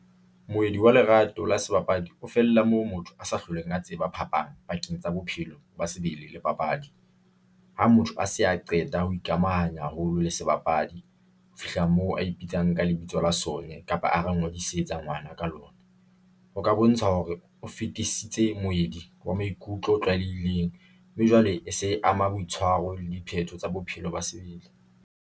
Moedi wa lerato la sebapadi o fella moo motho a sa hlolweng a tseba phapang pakeng tsa bophelo ba sebele le papadi. Ha motho a se a qeta ho ikamahanya haholo le sebapadi. Ho fihla moo a ipitsang ka lebitso la , kapa a re ngodisetsa ngwana ka lona. Ho ka bontsha hore o fetisitse moedi wa maikutlo o tlwalehileng mme jwale e se e ama boitshwaro le diphetho tsa bophelo ba sebele.